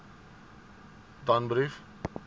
danbrief